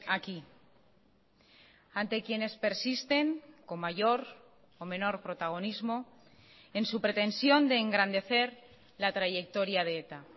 aquí ante quienes persisten con mayor o menor protagonismo en su pretensión de engrandecer la trayectoria de eta